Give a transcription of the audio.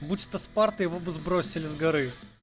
паспорт и его бы сбросили с горы